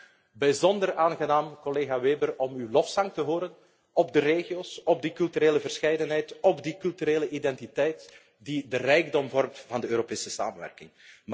Het was echt bijzonder aangenaam, collega Weber, om uw lofzang te horen op de regio's, op die culturele verscheidenheid, op die culturele identiteit die de rijkdom vormt van de Europese samenwerking.